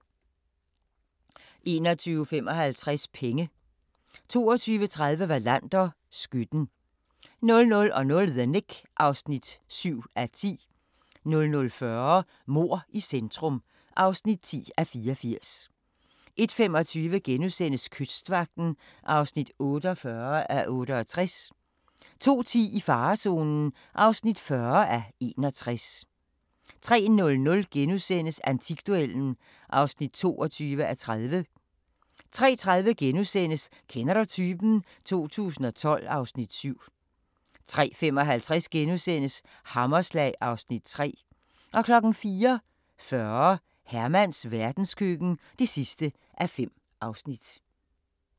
21:55: Penge 22:30: Wallander: Skytten 00:00: The Knick (7:10) 00:40: Mord i centrum (10:84) 01:25: Kystvagten (48:68)* 02:10: I farezonen (40:61) 03:00: Antikduellen (22:30)* 03:30: Kender du typen? 2012 (Afs. 7)* 03:55: Hammerslag (Afs. 3)* 04:40: Hermans verdenskøkken (5:5)